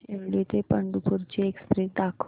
शिर्डी ते पंढरपूर ची एक्स्प्रेस दाखव